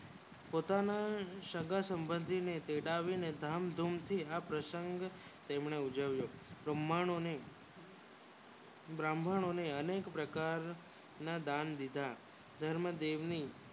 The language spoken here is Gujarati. પોતાના સગા સબંધી તેડાવીને ધામ ધૂમ થી આ પ્રસંગ તેણે ઉજવીયો બ્રાહ્મણો ને અનેક પ્રકાર ના દાન દીધા કરણ દેવી એ